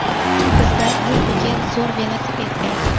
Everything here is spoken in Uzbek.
Bizda bu pulga zo‘r velosiped beradi.